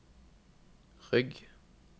rygg